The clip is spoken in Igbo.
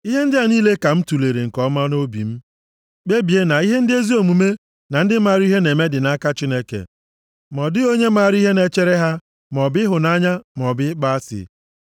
Ihe ndị a niile ka m tulere nke ọma nʼobi m, kpebie na ihe ndị ezi omume na ndị maara ihe na-eme dị nʼaka Chineke, ma ọ dịghị onye maara ihe na-echere ha maọbụ ịhụnanya maọbụ ịkpọ asị.